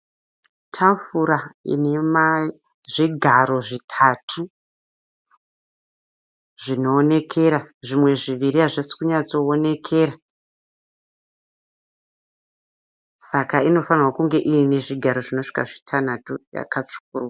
Tafura ine zvigaro zvitatu zvinoonekera zvimwe zviviri hazvisi kunyatsokuwonekera saka inofanirwa kunge iine zvigaro zvitanhatu. Yakatsvukuruka.